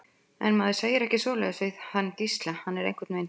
En maður segir ekki svoleiðis við hann Gísla, hann er einhvern veginn þannig.